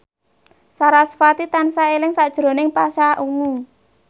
sarasvati tansah eling sakjroning Pasha Ungu